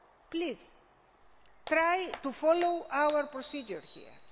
Please try to follow our procedure here